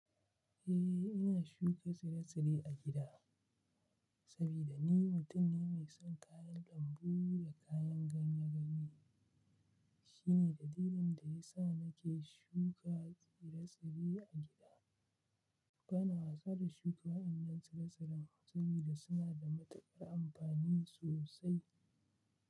Eh ina shuka tsire-tsire a gida, saboda ni mutum ne mai son kayan lambu da kayan ganye-ganye. Shine dalilin da ya sa nake shuka tsire-tsire a gida. Bana wasa da shuka wayannan tsire-tsiren sabida suna da matukar amfani sosai.